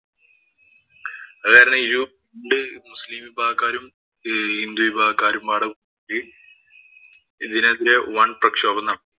അത് കാരണം ഈ മുസ്ലിം വിഭാഗക്കാരും, ഹിന്ദു വിഭാഗക്കാരും ഇതിനെതിരെ വന്‍ പ്രക്ഷോഭം നടത്തി.